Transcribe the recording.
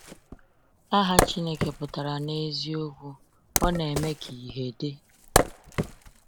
Aha Chineke pụtara n’eziokwu Ọ Na-eme Ka Ihe Dị.